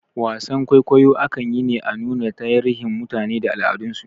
Wasar kwaikwayo akan yi ne a nuna tarihin mutane da al'adan su